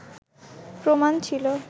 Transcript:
প্রমাণ ছিল